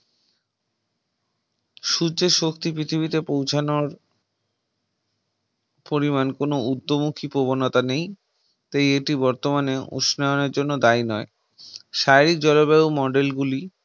সূর্যের শক্তি পৃথিবীতে পৌঁছানোর পরিমান কোন উদ্যমুখী প্রবণতা নেই তাই এটি বর্তমানে উষ্ণায়নের জন্য দায়ী নয় জলবায়ু মণ্ডল গুলি